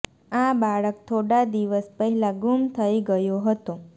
આ બાળક થોડા દિવસ પહેલા ગુમ થઈ ગયો હતો